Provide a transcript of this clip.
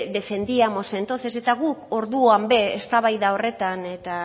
defendíamos entonces eta gu orduan ere eztabaida horretan eta